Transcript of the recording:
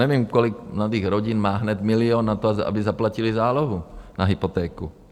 Nevím, kolik mladých rodin má hned milion na to, aby zaplatili zálohu na hypotéku.